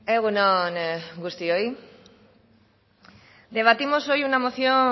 egun on guztioi debatimos hoy una moción